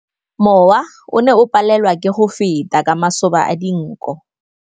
Mowa o ne o palelwa ke go feta ka masoba a dinko.